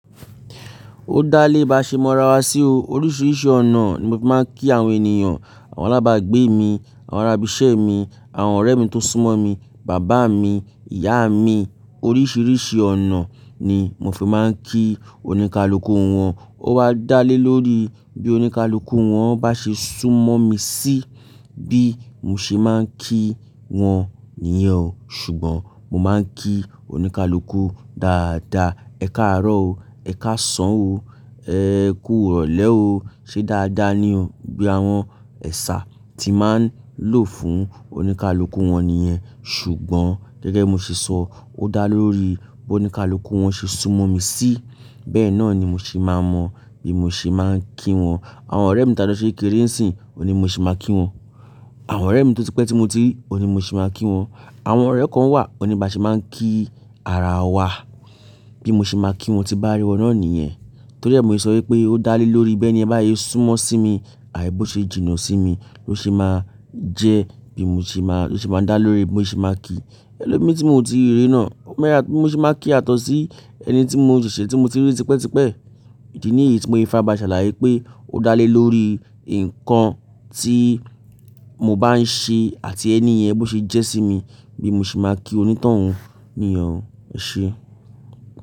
Ó dá lé bá ṣe mọ́ ara wa sí o. Oríṣiríṣi ọ̀nà ni mo fi máa ń kí àwọn ènìyàn, àwọn alábàágbé mi, àwọn arábìṣẹ́ mi, àwọn ọ̀rẹ́ mi tó súnmọ́ mi, bàbá mi, ìyá mi. Oríṣiríṣi ọ̀nà ni mo fi máa ń kí oníkálukú wọn. Ó wá dá lé lórí bí oníkálukú wọn bá ṣe súnmọ́ mi sí, bí mo ṣe máa ń kí wọn nìyẹn. Ṣùgbọ́n mo máa ń kí oníkálukú dáadáa, "Ẹ káàárọ̀ o. Ẹ káàsán o. Ẹ kú ìrọ̀lẹ́ o. Ṣé dáadáa ni o?" Bí àwọn ẹ̀sà tí màá ń lò fún oníkálukú wọn nìyẹn. Ṣùgbọ́n gẹ́gẹ́ mo ṣe sọ, ó dá lé lórí bí oníkálukú wọn ṣe súnmọ́ mi sí. Bẹ́ẹ̀ náà ni mo ṣe máa mọ bí mo ṣe máa ń kí wọn. Àwọn ọ̀rẹ́ mi tí a jo ṣe kekere ńsìn, òní bi mo ṣe máa kí wọn. Àwọn ọ̀rẹ́ mi tó ti pẹ́ tí mo ti rí, òní mo ṣe máa kí wọn. Àwọn ọ̀rẹ́ kan wà, òní bá ṣe máa ń kí ara wa, bí mo ṣe máa kí wọn tí bá rí wọn náà nìyẹn. Torí ẹ́ mo se sọ wípé ó dá lé lórí bí ẹni yen bá sé súnmọ́ sí mi, àì bo ṣe jìnnà sí mi ló ṣe máa jẹ́ bí mo ṣe máa, ló ṣe máa ń dá lé lórí bí mo ṣe máa kí ẹlòmíràn tí mò ti rí náà. Bi mo ṣe máa kí yatọ̀ sí ẹni tí mò ṣèṣe tí mo ti rí tipẹ́tipẹ́. Ìdí nìyí tí mo fi farabále ṣàlàyé pé ó dá lé lórí nǹkan tí mo bá ń ṣe àti ẹni yẹn bó ṣe jẹ́ sí mi bí mo ṣe máa kí onítàn un nìyẹn e ṣe.